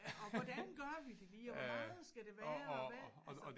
Og hvordan gør vi det lige og hvor meget skal det være og hvad altså